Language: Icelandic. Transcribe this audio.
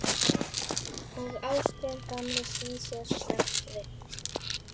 Og Ásgeir gamli snýr sér snöggt við.